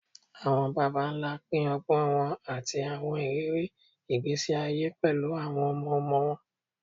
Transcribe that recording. Awọn baba nla pin ọgbọn wọn ati awọn iriri igbesi aye pẹlu awọn ọmọ-ọmọ wọn